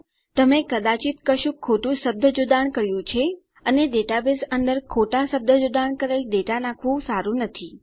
તમે કદાચિત કશુંક ખોટું શબ્દજોડાણ કર્યું છે અને ડેટાબેઝ અંદર ખોટા શબ્દજોડાણ કરેલ ડેટા દાખલ કરવું સારું નથી